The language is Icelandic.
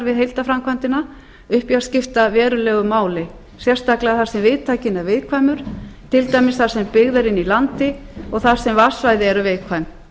við heildarframkvæmdina upp í að skipta verulegu máli sérstaklega þar sem viðtakinn er viðkvæmur til dæmis þar sem byggð er inni í landi og þar sem vatnssvæði eru viðkvæm